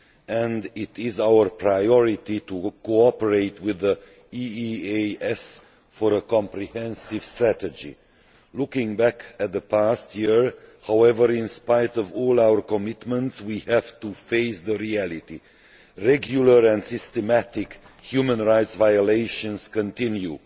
and it is our priority to cooperate with the EEAS for a comprehensive strategy. Looking back at the past year, however, in spite of all our commitment, we have to face reality. Regular and systematic human rights violations continue.